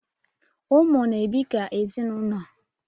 Ụmụ na-ebi ka ezinụlọ